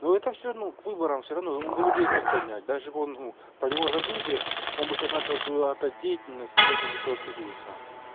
это все ну к выборам все равно он бы людей мог поднять даже вон про него забыли он сейчас начал свою опять деятельность и очень быстро раскрутился